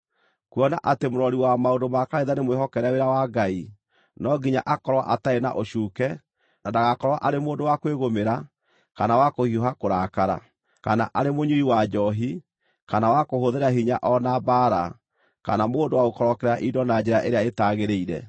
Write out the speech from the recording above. Kuona atĩ mũrori wa maũndũ ma kanitha nĩmwĩhokere wĩra wa Ngai, no nginya akorwo atarĩ na ũcuuke, na ndagakorwo arĩ mũndũ wa kwĩĩgũmĩra, kana wa kũhiũha kũrakara, kana arĩ mũnyui wa njoohi, kana wa kũhũthĩra hinya o na mbaara, kana mũndũ wa gũkorokera indo na njĩra ĩrĩa ĩtagĩrĩire.